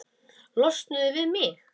Losnuðu við mig!